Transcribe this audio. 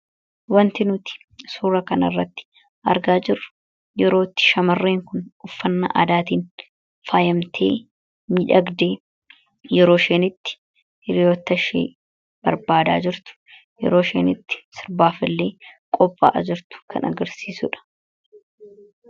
wanti nuti suura kanirratti argaa jirru yerootti shamarreen kun uffanna aadaatiin faayamtee midhagdee yeroo isheen itti hiriyyoota ishee barbaada jirtu yeroo isheen itti sirbaaf illee qophaa’a jirtu kan agarsiisudha.